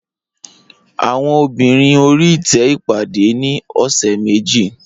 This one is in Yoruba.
Awọn obinrin ori ite ipade ni ọsẹ meji.